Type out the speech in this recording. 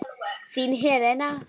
Þín, Helena.